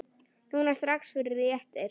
Núna strax- fyrir réttir.